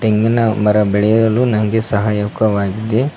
ತೆಂಗಿನ ಮರ ಬೆಳೆಯಲು ನಂಗೆ ಸಹಾಯಕವಾಗಿದೆ.